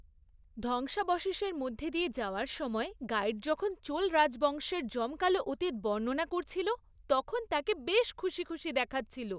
ধ্বংসাবশেষের মধ্যে দিয়ে যাওয়ার সময় গাইড যখন চোল রাজবংশের জমকালো অতীত বর্ণনা করছিল তখন তাকে বেশ খুশি খুশি দেখাচ্ছিল।